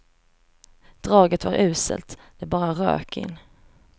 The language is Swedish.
Draget var uselt, det bara rök in.